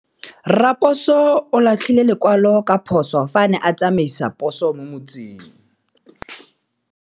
Raposo o latlhie lekwalô ka phosô fa a ne a tsamaisa poso mo motseng.